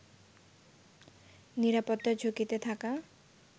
নিরাপত্তা ঝুঁকিতে থাকা